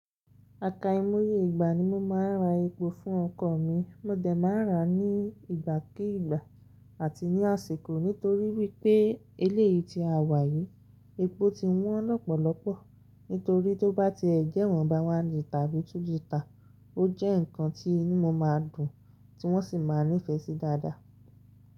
Àka imoye ìgbà ni mo máa ń ra epo fún ọkọ̀ mi. Mó dẹ̀ máa ń rà á ní ìgbàkígbà àti ní àsìkò. Nítorí wípé eléyìí tí a wà yìí, epo ti wọ́n lọ́pọ̀lọpọ̀. Nítorí tó bá ti ẹ̀ jẹ́ iwọ́n bá wá lí tàbí tú lí ta, ó jẹ́ ǹkan tí inú mo máa dùn tí wọ́n sì máa nífẹ̀ẹ́ sí dáadáa.